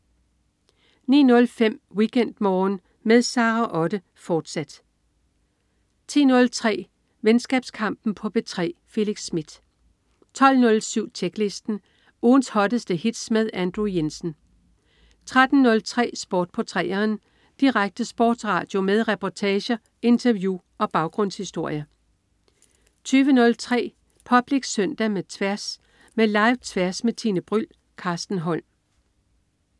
09.05 WeekendMorgen med Sara Otte, fortsat 10.03 Venskabskampen på P3. Felix Smith 12.07 Tjeklisten. Ugens hotteste hits med Andrew Jensen 13.03 Sport på 3'eren. Direkte sportsradio med reportager, interview og baggrundshistorier 20.03 Public Søndag med Tværs. Med Live-Tværs med Tine Bryld. Carsten Holm